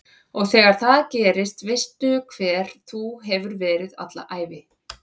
Og þegar það gerist veistu hver þú hefur verið alla ævi